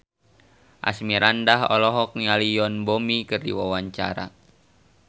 Asmirandah olohok ningali Yoon Bomi keur diwawancara